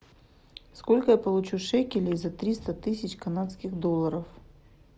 сколько я получу шекелей за триста тысяч канадских долларов